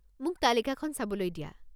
মোক তালিকাখন চাবলৈ দিয়া।